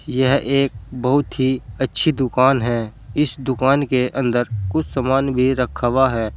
यह एक बहुत ही अच्छी दुकान है इस दुकान के अंदर कुछ सामान भी रखा हुआ है।